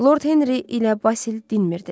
Lord Henri ilə Vasil dinmirdilər.